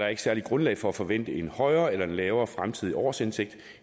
er særligt grundlag for at forvente en højere eller lavere fremtidig årsindtægt